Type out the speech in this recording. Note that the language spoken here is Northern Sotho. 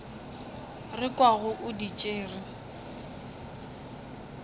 re kwago o di tšere